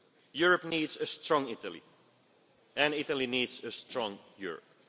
our Union. Europe needs a strong Italy and Italy needs a strong